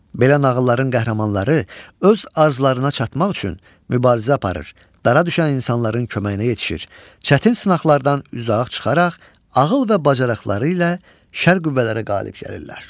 Belə nağılların qəhrəmanları öz arzularına çatmaq üçün mübarizə aparır, dara düşən insanların köməyinə yetişir, çətin sınaqlardan üzə ağ çıxaraq, ağıl və bacarıqları ilə şər qüvvələrə qalib gəlirlər.